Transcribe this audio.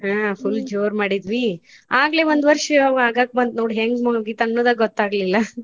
ಹುಂ full ಜೋರ ಮಾಡಿದ್ವಿ ಆಗ್ಲೇ ಒಂದ ವರ್ಷ ಆಗಾಕ್ ಬಂತ್ ನೋಡ್ ಹೆಂಗ ಮುಗಿತ ಅನ್ನೋದ ಗೊತ್ತ ಆಗ್ಲಿಲ್ಲ.